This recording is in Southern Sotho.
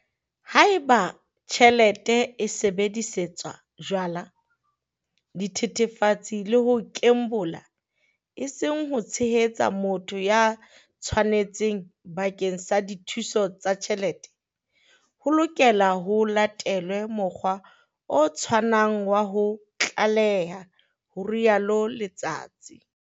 "Haeba tjhelete e sebedisetswa jwala, dithethefatse le ho kembola eseng ho tshehetsa motho ya tshwanetseng bakeng sa dithuso tsa tjhelete, ho lokela ho latelwe mokgwa o tshwanang wa ho tlaleha," ho rialo Letsatsi.